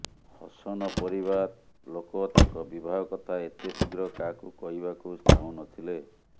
ହସନ ପରିବାର ଲୋକ ତାଙ୍କ ବିବାହ କଥା ଏତେ ଶୀଘ୍ର କାହାକୁ କହିବାକୁ ଚାହୁଁନଥିଲେ